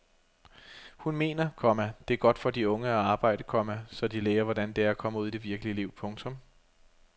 Hun mener, komma det er godt for de unge at arbejde, komma så de lærer hvordan det er at komme ud i det virkelige liv. punktum